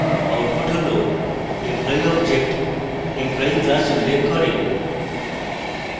output হল employee object employee class উল্লেখ করে